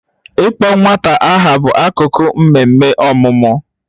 Ịkpọ nwata aha bụ akụkụ nke mmemme ọmụmụ